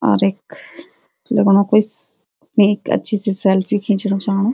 और एक स लगणु क्वि स-स एक अच्छी सी सेल्फी खिचणु चाणु।